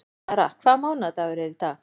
Dara, hvaða mánaðardagur er í dag?